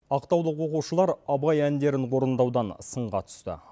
ақтаулық оқушылар абай әндерін орындаудан сынға түсті